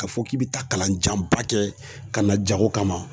K'a fɔ k'i bɛ taa kalan janba kɛ ka na jago kama